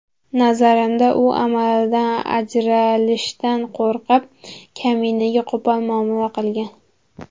Nazarimda, u amalidan ajralishdan qo‘rqib, kaminaga qo‘pol muomala qilgan.